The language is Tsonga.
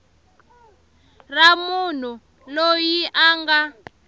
ra munhu loyi a nga